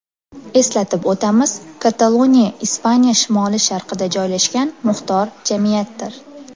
Eslatib o‘tamiz, Kataloniya Ispaniya shimoli-sharqida joylashgan muxtor jamiyatdir.